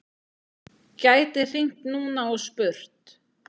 Gæti hringt núna og spurt.